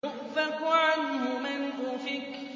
يُؤْفَكُ عَنْهُ مَنْ أُفِكَ